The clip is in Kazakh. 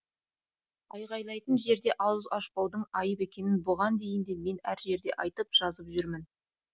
айғайлайтын жерде ауыз ашпаудың айып екенін бұған дейін де мен әр жерде айтып жазып жүрмін